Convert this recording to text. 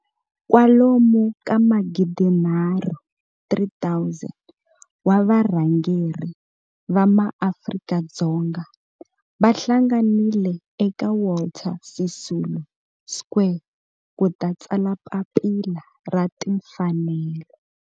Kwalomu ka magidinharhu, 3 000, wa varhangeri va maAfrika-Dzonga va hlanganile eka Walter Sisulu Square ku ta tsala Papila ra Timfanelo.